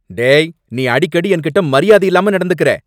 டேய்! நீ அடிக்கடி என்கிட்ட மரியாதை இல்லாம நடந்துக்கற.